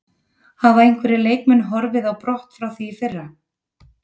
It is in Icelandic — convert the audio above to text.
Hafa einhverjir leikmenn horfið á brott frá því í fyrra?